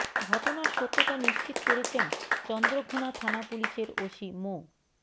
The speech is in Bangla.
ঘটনার সত্যতা নিশ্চিত করেছেন চন্দ্রঘোনা থানা পুলিশের ওসি মো